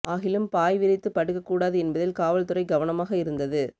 ஆகிலும் பாய் விரித்து படுக்க கூடாது என்பதில் காவல் துறை கவனமாக இருந்தது